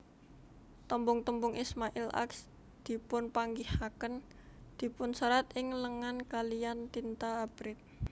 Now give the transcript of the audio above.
Tembung tembung Ismail Ax dipunpanggihaken dipunserat ing lengan kaliyan tinta abrit